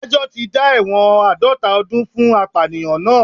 Adájọ́ tí dá ẹ̀wọ̀n àádọ́ta ọdún fún apàyàn náà